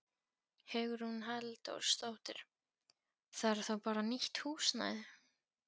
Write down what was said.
Hugrún Halldórsdóttir: Þarf þá bara nýtt húsnæði?